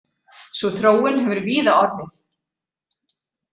Sú þróun hefur víða orðið.